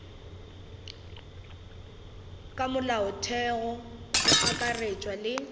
ka molaotheong go akaretšwa le